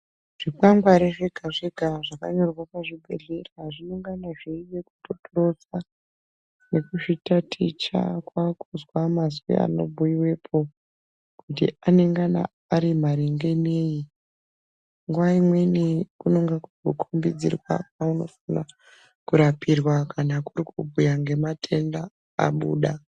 Zvikwangari zvegazvega zvakanyorwa pazvibhehleya zvinongana zveitotorodza nekuzvitaticha kwakuzwa mazwi anobhuyiwepo kuti anengana ari maringe neyi nguwa imweni kunenge kurikukombedziwa kwaunofane kurapirwa kana kuri kubhuyirwa ngematenda abuda.